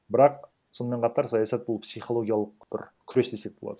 бірақ сонымен қатар саясат бұл психологиялық бір күрес десек болады